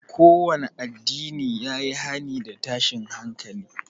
Kowanne addinin ya yi hani da tashin hankali